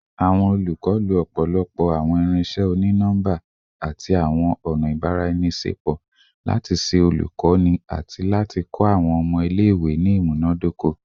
Awọn olukọ lo ọpọlọpọ awọn irinṣẹ oni-nọmba ati awọn ọna ibaraenisepo lati ṣe olukoni ati kọ awọn ọmọ ile-iwe ni imunadoko